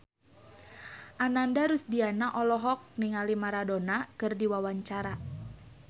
Ananda Rusdiana olohok ningali Maradona keur diwawancara